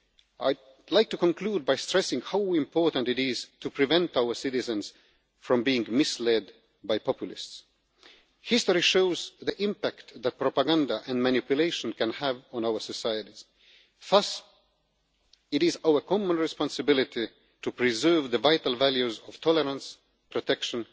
I would like to conclude by stressing how important it is to prevent our citizens from being misled by populists. History shows the impact that propaganda and manipulation can have on our societies. Thus it is our common responsibility to preserve the vital values of tolerance,